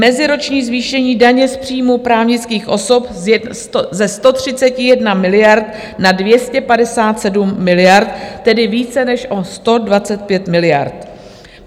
Meziroční zvýšení daně z příjmů právnických osob ze 131 miliard na 257 miliard, tedy více než o 125 miliard.